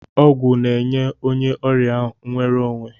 Ọgwụ ga-enye onye ọrịa nwere onwe.